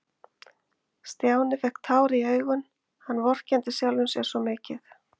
Stjáni fékk tár í augun, hann vorkenndi sjálfum sér svo mikið.